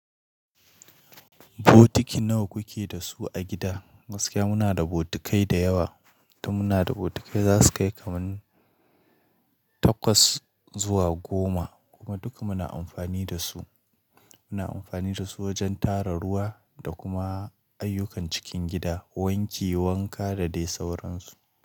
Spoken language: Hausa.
Botiki nawa kuke da su a gida? Gaskiya muna da botikai da yawa, Dan muna da botikai za su kai kamar takwas zuwa goma kuma duka muna amfani da su. Muna amfani da su wajen tara ruwa da kuma ayyukan cikin gida, wanki, wanka da dai sauransu.